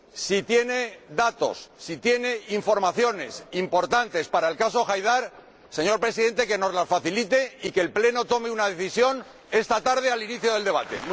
Si tiene datos, si tiene informaciones importantes para el caso Haidar, señor Presidente, que nos las facilite y que el Pleno tome una decisión esta tarde al inicio del debate.